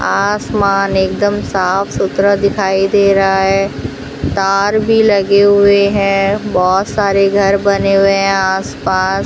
आसमान एकदम साफ सुथरा दिखाई दे रहा है तार भी लगे हुए हैं बहोत सारे घर बने हुए हैं आसपास।